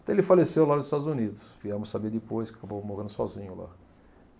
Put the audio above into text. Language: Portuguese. Então ele faleceu lá nos Estados Unidos, viemos saber depois que acabou morrendo sozinho lá.